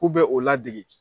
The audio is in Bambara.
K'u bɛ o ladege